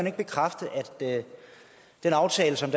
ikke bekræfte at den aftale som